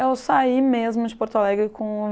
Eu saí mesmo de Porto Alegre com